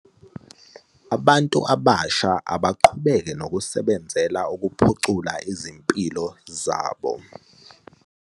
.abantu abasha abaqhubeke nokusebenzela ukuphucula izimpilo zabo.